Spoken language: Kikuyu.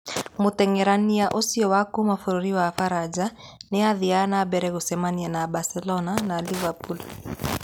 Mũteng'erania ũcio wa kuuma bũrũri wa Faranja nĩ athiaga na mbere gũcemania na Barcelona na Liverpool.